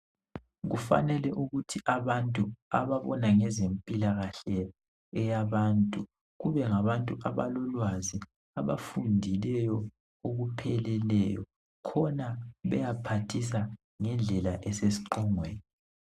Kufanele ukuthi abantu ababona ngezempilakahle eyabantu kubengabantu abalolwazi abafundileyo okupheleleyo khona beyaphathisa ngendlela esesiqongeni.